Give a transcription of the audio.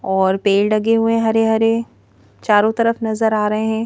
और पेड़ डगे हुए हैं हरे-हरे चारों तरफ नजर आ रहे हैं।